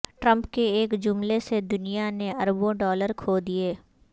Trump کے ایک جملے سے دنیا نے اربوں ڈالر کھو دیے